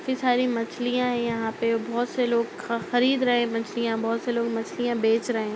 काफी सारी मछलियाँ हैं। यहाँ पर बोहोत से लोग ख खरीद रहे हैं मछलियाँ बोहोत से लोग मछलियाँ बेच रहे हैं।